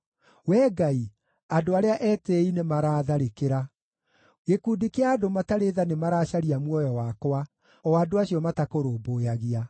Wee Ngai, andũ arĩa etĩĩi nĩmaraatharĩkĩra; gĩkundi kĩa andũ matarĩ tha nĩmaracaria muoyo wakwa, o andũ acio matakũrũmbũyagia.